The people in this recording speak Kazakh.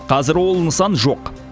қазір ол нысан жоқ